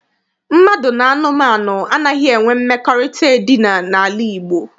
Mmadụ na anụmanụ anaghị enwe mmekọrịta edina n'ala Igbo.